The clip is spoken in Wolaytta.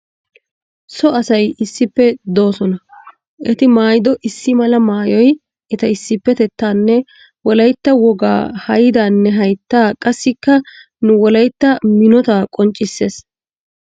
So asay issippe doosona. Eti mayyido issi mala mayyoy eta issippetettaanne wolayitta wogaa hayidaanne hayittaa qassikka nu wolayitta minotaa qonccisses.